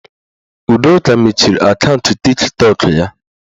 Udoka mechiri akaụntụ Tiktọk ya